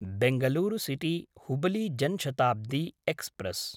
Bangalore सिटी–हुबली Jan Shatabdi express